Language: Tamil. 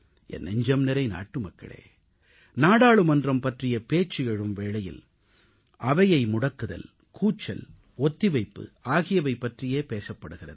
என் நெஞ்சம்நிறை நாட்டுமக்களே நாடாளுமன்றம் பற்றிய பேச்சு எழும் வேளையில் அவையை முடக்குதல் கூச்சல் ஒத்திவைப்பு ஆகியவை பற்றியே பேசப்படுகிறது